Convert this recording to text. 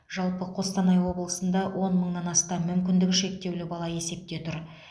жалпы қостанай облысында он мыңнан астам мүмкіндігі шектеулі бала есепте тұр